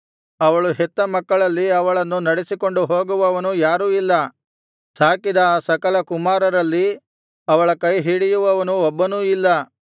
ಅವಳು ಹೆತ್ತ ಮಕ್ಕಳಲ್ಲಿ ಅವಳನ್ನು ನಡೆಸಿಕೊಂಡು ಹೋಗುವವನು ಯಾರೂ ಇಲ್ಲ ಸಾಕಿದ ಆ ಸಕಲ ಕುಮಾರರಲ್ಲಿ ಅವಳ ಕೈ ಹಿಡಿಯುವವನು ಒಬ್ಬನೂ ಇಲ್ಲ